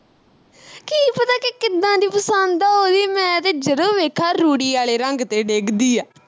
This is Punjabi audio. ਮੈਂ ਤੇ ਜਦੋਂ ਵੇਖਾਂ ਰੂੜੀ ਵਾਲੇ ਰੰਗ ਤੇ ਡਿਗਦੀ ਆ